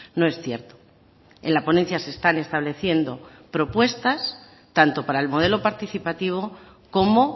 no es cierto en la ponencia se están estableciendo propuestas tanto para el modelo participativo como